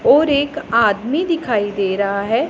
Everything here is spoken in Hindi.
और एक आदमी दिखाई दे रहा है।